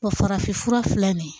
farafin fura filɛ nin ye